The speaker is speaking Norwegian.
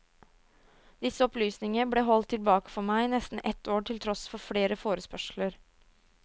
Disse opplysninger ble holdt tilbake for meg i nesten et år til tross for flere forespørsler.